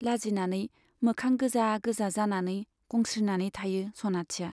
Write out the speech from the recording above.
लाजिनानै मोखां गोजा गोजा जानानै गंस्रिनानै थायो सनाथिया।